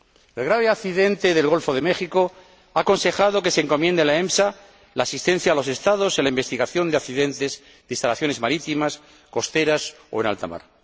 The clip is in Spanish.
El grave accidente del Golfo de México ha aconsejado que se encomiende a la EMSA la asistencia a los Estados en la investigación de accidentes de instalaciones marítimas, costeras o en alta mar.